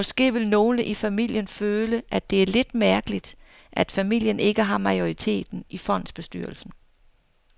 Måske vil nogle i familien føle, at det er lidt mærkeligt, at familien ikke har majoriteten i fondsbestyrelsen.